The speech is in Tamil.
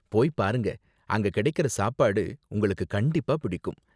போய் பாருங்க, அங்க கிடைக்குற சாப்பாடு உங்களுக்கு கண்டிப்பா பிடிக்கும்.